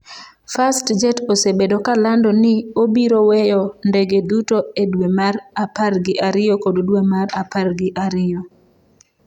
Fastjet osebedo ka lando ni obiro weyo ndege duto e dwe mar apar gi ariyo kod dwe mar apar gi ariyo.